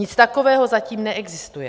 Nic takového zatím neexistuje.